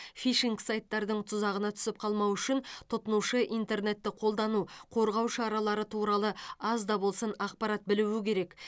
фишинг сайттардың тұзағына түсіп қалмау үшін тұтынушы интернетті қолдану қорғау шаралары туралы аз да болсын ақпарат білуі керек